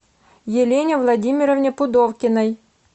елене владимировне пудовкиной